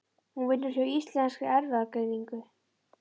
Hún vinnur hjá Íslenskri erfðagreiningu.